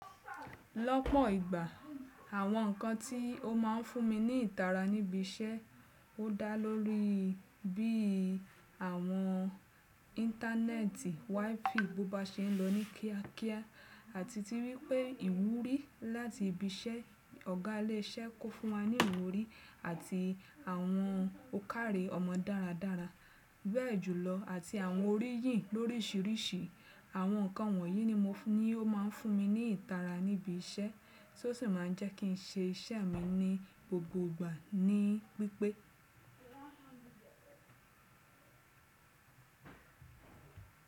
Lọ́pọ̀ ìgbà àwọn ǹkan tí ó máa ń fún mi ní ìtara níbi iṣẹ́ ó dá lórí bí i àwọn íńtánẹ́ẹ̀tì WiFi bó ba ṣe ń lọ ní kíákíá àti ti wípé ìwúrí láti ibi iṣẹ́ ọ̀gá ilé iṣẹ́ kó fún wa ní ìwúrí àti àwọn ó kárè ọmọ dáradára bẹ́ẹ̀ jùlọ àti àwọn oríyìn lóríṣìíríṣìí. Àwọn ǹkan wọ̀nyí ni mo ní ó máa ń fún mi ní ìtara níbi iṣẹ́ tí ó sì máa ń jẹ́ kí n ṣe iṣẹ́ mi ní gbogbo ìgbà ní pípe.